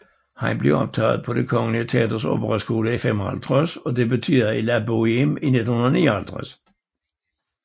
Han blev optaget på Det kongelige Teaters operaskole i 1955 og debuterede i La Boheme i 1959